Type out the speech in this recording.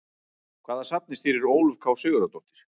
Hvaða safni stýrir Ólöf K Sigurðardóttir?